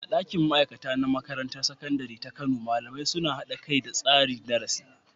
A ɗakin ma'aikata na Makarantar Sakandare ta Kano, malamai suna haɗa kai da tsara darasi